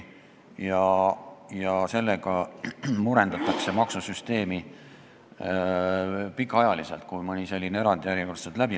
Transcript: Kui mõni selline erand järjekordselt läbi läheb, murendatakse sellega maksusüsteemi pikaajaliselt.